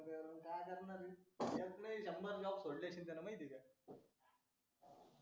number lock फोडले त्याला माहिती आहे का